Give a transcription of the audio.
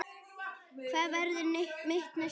Hvað verður mitt næsta lið?